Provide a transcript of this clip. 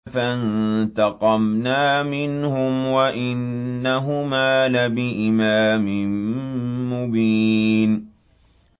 فَانتَقَمْنَا مِنْهُمْ وَإِنَّهُمَا لَبِإِمَامٍ مُّبِينٍ